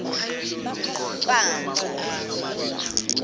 mpanza